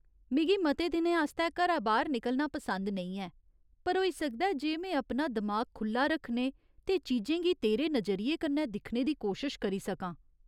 मिगी मते दिनें आस्तै घरा बाह्‌र निकलना पसंद नेईं ऐ, पर होई सकदा ऐ जे में अपना दिमाग खु'ल्ला रक्खने ते चीजें गी तेरे नजरिये कन्नै दिक्खने दी कोशश करी सकां।